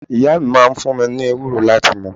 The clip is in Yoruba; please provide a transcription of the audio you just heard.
Ìyá mi máa ń fun mi ni ewúro láti mu